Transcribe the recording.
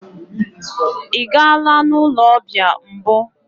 Ị gaala n'ụlọ ọbịa mbụ?